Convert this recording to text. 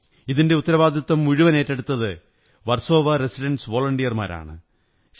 ഇതിന്റെ ഉത്തരവാദിത്വം മുഴുവൻ ഏറ്റെടുത്തത് വര്സോ്വാ റസിഡന്റ്സ് വോളണ്ടിയര്മാരരാണ്